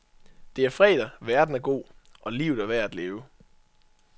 Det er fredag, verden er god, og livet er værd at leve.